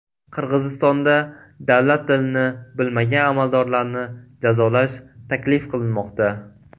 Qirg‘izistonda davlat tilini bilmagan amaldorlarni jazolash taklif qilinmoqda.